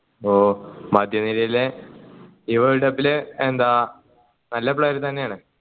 ഓ മധ്യനിരയിലെ ഈ world cuo ൽ എന്താ നല്ല player തന്നെയാണ്